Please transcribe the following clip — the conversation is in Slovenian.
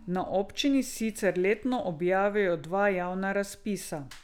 Na občini sicer letno objavijo dva javna razpisa.